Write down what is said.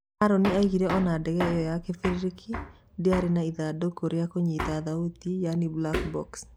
Harũni araugire ona ndege ĩyo ya kĩbĩrĩrĩki ndĩarĩ na ithanduku rĩa kũnyita thauti yani 'black box'.